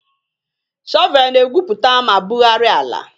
Shọvel na-egwupụta ma bugharịa ala.